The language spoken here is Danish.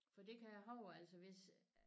For det kan jeg huske altså hvis